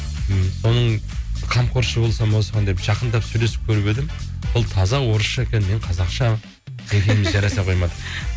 м соның қамқоршы болсам осыған деп жақындап сөйлесіп көріп едім бұл таза орысша екен мен қазақша екеуіміз жараса қоймадық